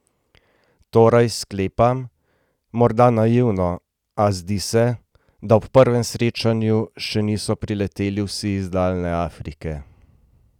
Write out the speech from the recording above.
Torej, sklepam, morda naivno, a zdi se, da ob prvem srečanju še niso prileteli vsi iz daljne Afrike.